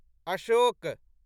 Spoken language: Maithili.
अशोक